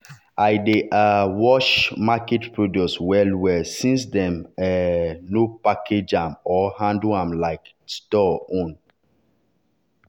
i dey um wash market produce well-well since dem um no package am or handle am like store own.